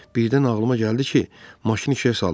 Birdən ağlıma gəldi ki, maşını işə salım.